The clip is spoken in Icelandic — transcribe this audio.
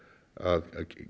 að